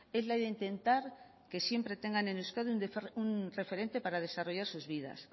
es la de intentar que siempre tengan en euskadi un referente para desarrollar sus vidas